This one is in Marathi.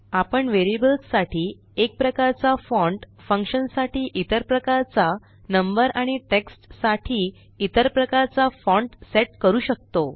आपण वरियेबल्स साठी एक प्रकारचा फॉण्ट फंक्शन साठी इतर प्रकारचा नंबर आणि टेक्स्ट साठी इतर प्रकारचा फॉण्ट सेट करू शकतो